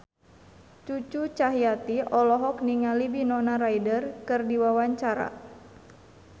Cucu Cahyati olohok ningali Winona Ryder keur diwawancara